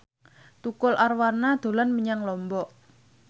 Tukul Arwana dolan menyang Lombok